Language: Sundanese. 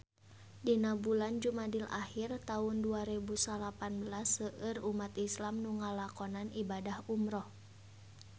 Dina bulan Jumadil ahir taun dua rebu salapan belas seueur umat islam nu ngalakonan ibadah umrah